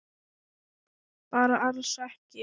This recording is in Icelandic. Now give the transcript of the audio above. Bara alls ekki.